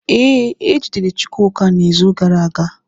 Ee, ejidere Chukwuka n’izu gara aga.